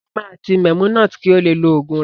Saeed ma ti Memunat ki o le lo ogun rẹ.